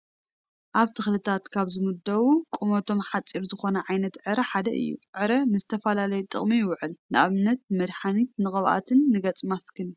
ኣብ ተኽልታት ካብ ዝምደቡ ቁሞቶም ሓፂር ዝኾነ ዓይታት ዕረ ሓደ እዩ፡፡ ዕረ ንዝተፈላለየ ጥቕሚ ይውዕል፡፡ ንኣብነት ንመድሓኒት ፣ ንቅብኣትን ንገፅ ማስክን፡፡